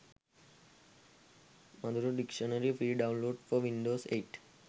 madura dictionary free download for windows 8